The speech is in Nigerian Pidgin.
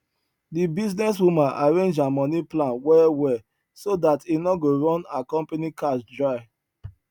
di business woman arrange her money plan well well so dat e no go run her company cash dry